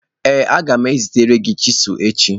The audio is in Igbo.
Ee a ga m ezitere gi chisilu echi.